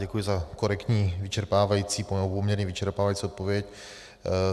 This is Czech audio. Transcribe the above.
Děkuji za korektní, vyčerpávající, poměrně vyčerpávající odpověď.